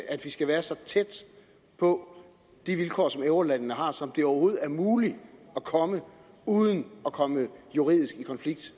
at vi skal være så tæt på de vilkår som eurolandene har som det overhovedet er muligt uden at komme juridisk i konflikt